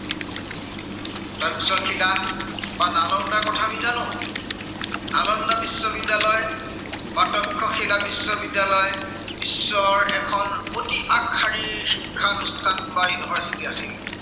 তক্ষশিলা, বা নালন্দাৰ কথা আমি জানো। নালন্দা বিশ্ববিদ্য়ালয়, বা তক্ষশিলা বিশ্ববিদ্য়ালয়, বিশ্বৰ এখন অতি আগশাৰীৰ শিক্ষানুষ্ঠান বা university আছিল।